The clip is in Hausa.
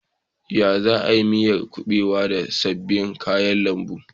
Za a yi miyar kubewar da sabbin kayan lambu.